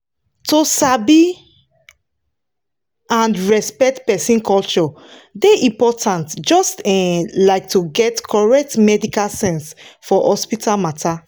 to sabi and respect person culture dey important just um like to get correct medical sense for hospital matter.